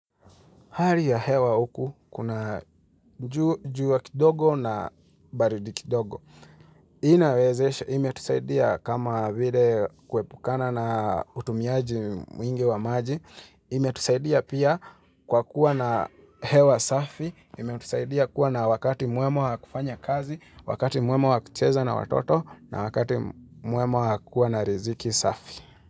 Hali ya hewa huku, kuna ju jua kidogo na baridi kidogo. Inawezeshe, imetusaidia kama vile kuepukana na utumiaji mwingi wa maji, imetusaidia pia kwa kuwa na hewa safi, imetusaidia kuwa na wakati mwema wa kufanya kazi, wakati mwema wa kucheza na watoto, na wakati mwema wa kuwa na riziki safi.